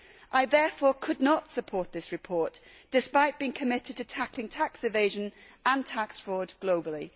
I therefore could not support this report, despite being committed to tackling tax evasion and tax fraud globally.